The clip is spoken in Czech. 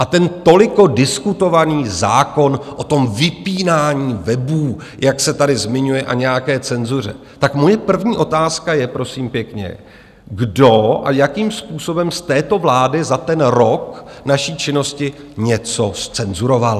A ten toliko diskutovaný zákon o tom vypínání webů, jak se tady zmiňuje, a nějaké cenzuře - tak moje první otázka je, prosím pěkně, kdo a jakým způsobem z této vlády za ten rok naší činnosti něco zcenzuroval?